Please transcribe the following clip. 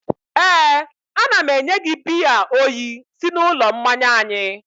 éè, a na m enye gị biya oyi si n'ụlọ mmanya anyị